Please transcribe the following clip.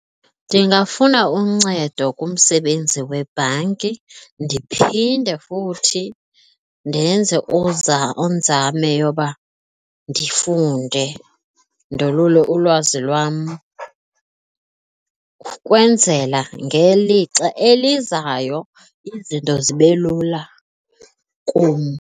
Ndingafuna uncedo kumsebenzi webhanki ndiphinde futhi ndenze inzame yoba ndifunde ndolule ulwazi lwam ukwenzela ngelixa elizayo izinto zibe lula kum.